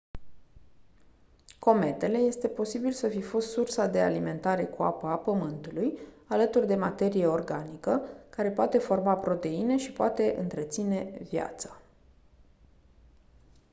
cometele este posibil să fi fost sursa de alimentare cu apă a pământulului alături de materie organică care poate forma proteine și poate întreține viața